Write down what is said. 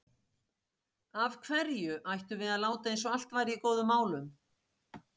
Af hverju ættum við að láta eins og allt væri í góðum málum?